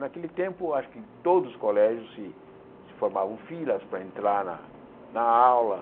Naquele tempo, acho que todos os colégios se se formavam filas para entrar na na aula.